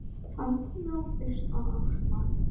Hann þjáðist af astma.